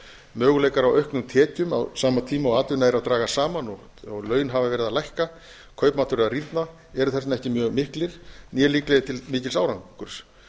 möguleikar á auknum tekjum á sama tíma og atvinna er að dragast saman og laun h afa verið að lækka kaupmáttur að rýrna eru þess vegna ekki mjög miklir né líklegir til mikils árangurs